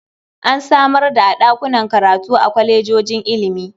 An samar da a ɗakunan karatu a kwalejojin ilimi.